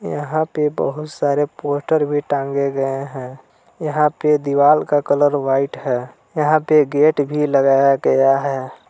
यहां पे बहुत सारे पोस्टर भी टांगे गए हैं यहां पे दीवाल का कलर व्हाइट है यहां पे गेट भी लगाया गया है।